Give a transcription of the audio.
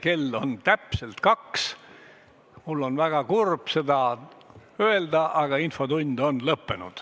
Kell on täpselt kaks, seega, mul on väga kurb seda öelda, aga infotund on lõppenud.